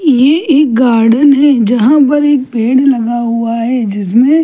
ये एक गार्डन है जहां पर एक पैड़ लगा हुआ है जिसमे --